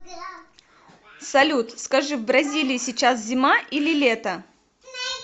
салют скажи в бразилии сейчас зима или лето